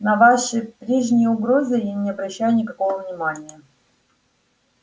на ваши прежние угрозы я не обращаю никакого внимания